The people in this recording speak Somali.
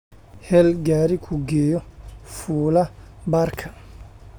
hel gari kugeyo fuula baarka